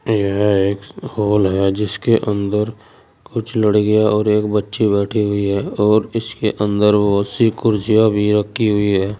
यह एक्स हाल है जिसके अंदर कुछ लड़कियां और एक बच्ची बैठी हुई है और इसके अंदर बहुत सी कुर्सियां भी रखी हुई है।